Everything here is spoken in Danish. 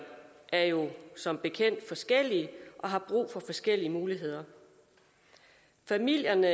er jo som bekendt forskellige og har brug for forskellige muligheder familierne